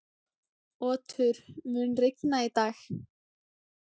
Otur, mun rigna í dag?